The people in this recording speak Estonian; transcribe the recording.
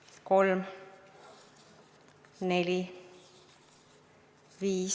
Loen avalikult ette kandidaatidele antud hääled.